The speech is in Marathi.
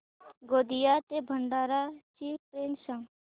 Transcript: गोंदिया ते भंडारा ची ट्रेन सांग